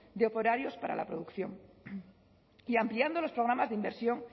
de operarios para la producción y ampliando los programas de inversión